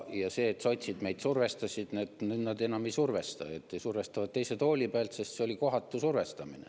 Ja see, et sotsid meid survestasid – nüüd nad enam ei survesta või survestavad teise tooli pealt, sest see oli kohatu survestamine.